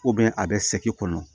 a bɛ kɔnɔ